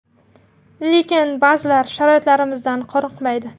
Lekin ba’zilari sharoitlarimizdan qoniqmaydi.